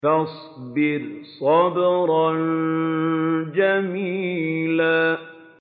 فَاصْبِرْ صَبْرًا جَمِيلًا